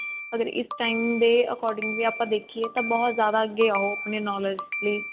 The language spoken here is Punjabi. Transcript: ਅਗਰ ਇਸ time ਦੇ according ਆਪਾਂ ਦੇਖੀਏ ਤਾਂ ਬਹੁਤ ਜਿਆਦਾ ਅੱਗੇ ਆ ਉਹ ਆਪਣੀ knowledge ਲਈ